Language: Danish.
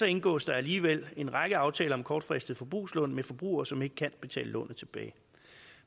indgås der alligevel en række aftaler om kortfristede forbrugslån med forbrugere som ikke kan betale lånet tilbage